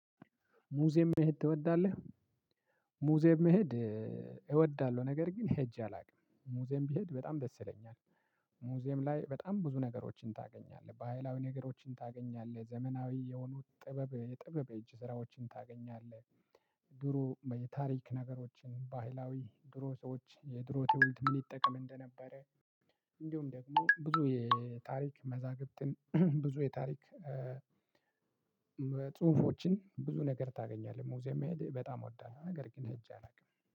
ሙዚየም መሄድ ትወዳለህ? ሙዚየም መሄድ እወዳለሁ። ነገር ግን ሄጄ አላውቅም ሙዚየም ቢሄድ በጣም ደስ ይለኛል። ሙዚየም ላይ በጣም ብዙ ነገሮችን ታገኛለህ ባሃይላዊ ነገሮችን ታገኛለህ ዘመናዊ የሆኑ ጥበብ የጥበብ የእጅ ስራዎችን ታገኛለህ። ድሮ በታሪክ ነገሮችን ባህላዊ ድሮ ሰዎች የድሮ ትውልድ ምን ይጠቀም እንደነበረ። እንዲሁም ደግሞ ብዙ የታሪክ መዛግብትን ብዙ የታሪክ ጽሁፎችን ብዙ ነገር ታገኛለህ። ሙዚየም መሄድ በጣም እወዳለሁ ነገር ግን ሄጄ አላውቅም